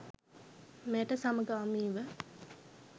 මෙයට සමගාමීව